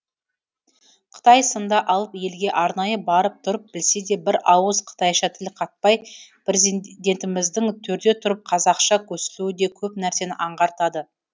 қытай сынды алып елге арнайы барып тұрып білсе де бір ауыз қытайша тіл қатпай президентіміздің төрде тұрып қазақша көсілуі де көп нәрсені аңғартады